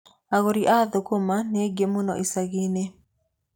Agũri a thũkũma nĩ aingĩ mũno icagi-inĩ.